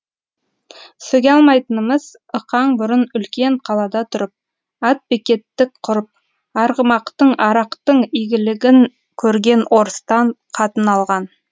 сөге алмайтынымыз ықаң бұрын үлкен қалада тұрып атбекеттік құрып арғымақтың арақтың игілігін көрген орыстан қатын алған